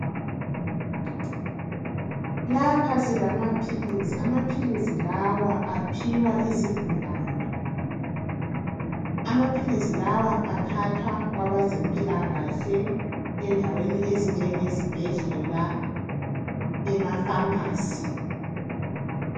Lapha silamaphilisi. Amaphilisi lawa aphiwa izigulane. Amaphilisi lawa athathwa kwabazempilakahle, endaweni ezinjengezibhedlela, emapharmacy.